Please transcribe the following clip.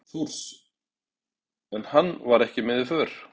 Þórs, en hann var ekki með í för.